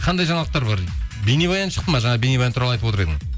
қандай жаңалықтар бар бейнебаян шықты ма жаңа бейнебаян туралы айтып отыр едің